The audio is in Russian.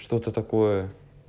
что-то такое